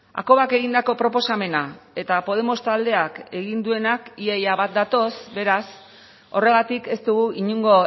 hakobak egindako proposamena eta podemos taldeak egin duenak ia ia bat datoz beraz horregatik ez dugu inongo